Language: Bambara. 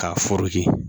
K'a